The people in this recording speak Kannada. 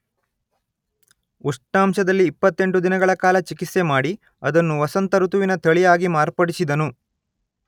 ಉಷ್ಣಾಂಶದಲ್ಲಿ ಇಪ್ಪತ್ತೆಂಟು ದಿನಗಳ ಕಾಲ ಚಿಕಿತ್ಸೆ ಮಾಡಿ ಅದನ್ನು ವಸಂತ ಋತುವಿನ ತಳಿಯಾಗಿ ಮಾರ್ಪಡಿಸಿದನು